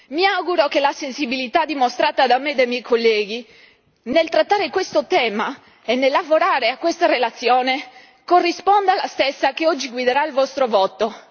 Mi auguro che la sensibilità dimostrata da me e dai miei colleghi nel trattare questo tema e nel lavorare a questa relazione corrisponda la stessa che oggi guiderà il vostro voto.